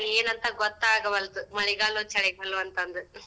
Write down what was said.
ಏನಂತ ಗೊತ್ತ ಆಗವಲ್ದು, ಮಳಿಗಾಲ್ವೋ, ಚಳಿಗಾಲ್ವೋ ಅಂತ ಅಂದ್.